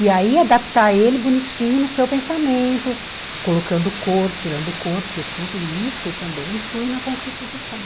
E aí adaptar ele bonitinho no seu pensamento, colocando cor, tirando cor, porque tudo isso também influi na concretização.